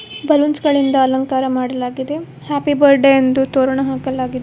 Balloons ಗಳಿಂದ ಅಲಂಕಾರ ಮಾಡಲಾಗಿದೆ ಹ್ಯಾಪಿ ಬಾರ್ಡೇ ಎಂದು ತೋರಣ ಹಾಕಲಾಗಿದೆ.